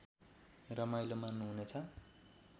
रमाइलो मान्नुहुनेछ